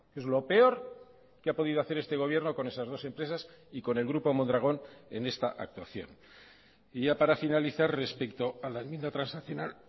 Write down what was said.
es lo peor que ha podido hacer este gobierno con esas dos empresas y con el grupo mondragón en esta actuación y ya para finalizar respecto a la enmienda transaccional